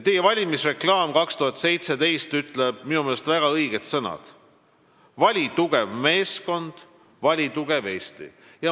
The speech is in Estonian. Teie valimisreklaam 2017 ütleb minu meelest väga õiged sõnad: "Vali tugev meeskond, vali tugev Eesti!".